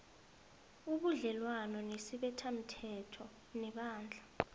ubudlelwana nesibethamthetho nebandla